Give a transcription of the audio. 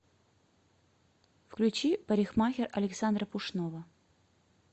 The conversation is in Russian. включи парикмахер александра пушного